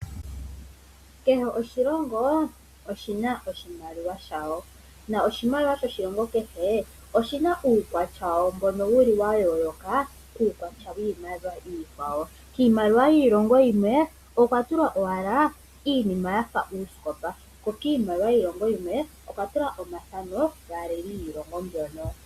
Kehe oshilongo oshina oshimaliwa shasho noshimaliwa shoshilongo kehe oshina uukwatya washo mbono wuli wayooloka kuukwatya wiimaliwa iikwawo. Kiimaliwa yiilongo yimwe okwa tulwa owala iinima yafa uusikopa ko kiimaliwa yiilongo yiilongo yimwe okwa tulwa omathano gaaleli mbyono.